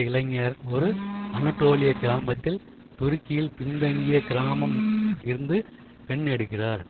இளைஞர் ஒரு அனடோலிய கிராமத்தில் துருக்கியில் பின்தங்கிய கிராமம் இருந்து பெண் எடுக்கிறார்